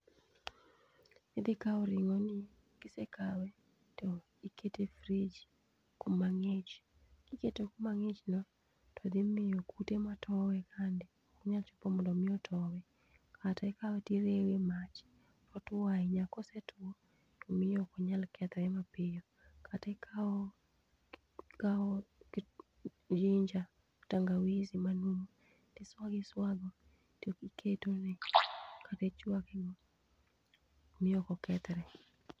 Idhi kao ring'o ni to ka isekawe to ikete e fridge kuma ng'ich. Kikete kuma ng'ich no to dhi miyo kute matowe kande ok nyal chopo mondo mi otowe. Kata ikawe to irewe e mach, oyuo ahinya, kosetuo to miyo ok onyal kethre mapiyo. Kata ikao kit ginger tangawizi manum, tiswago iswago to iketone, kata ichwake go miyo ok okethre.